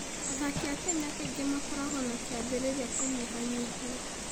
Athaki a Kenya kaingĩ makoragwo na kĩambĩrĩria kĩnyihanyiihĩ.